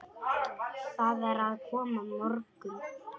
Það er að koma morgunn